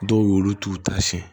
Dɔw y'olu t'u ta siɲɛ